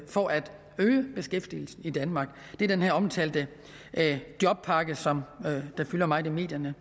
for at øge beskæftigelsen i danmark det er den her omtalte jobpakke som fylder meget i medierne